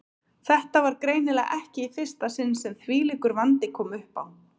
Þetta var greinilega ekki í fyrsta sinn sem þvílíkur vandi kom uppá.